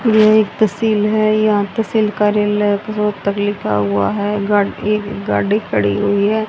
यह एक तहसील है यहां तहसील कार्यालय रोहतक लिखा हुआ है गाड़ी एक गाड़ी खड़ी हुई है।